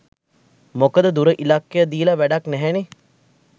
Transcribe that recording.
මොකද දුර ඉලක්ක දීල වැඩක් නැහැනේ